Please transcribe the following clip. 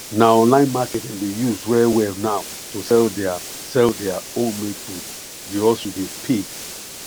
na online market dem dey use well well now to sell their sell their homemade food the hustle dey pay